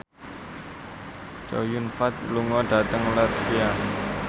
Chow Yun Fat lunga dhateng latvia